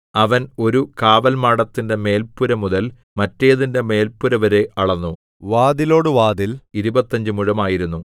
അവൻ ഒരു കാവൽമാടത്തിന്റെ മേല്പുര മുതൽ മറ്റേതിന്റെ മേല്പുരവരെ അളന്നു വാതിലോടു വാതിൽ ഇരുപത്തഞ്ച് മുഴമായിരുന്നു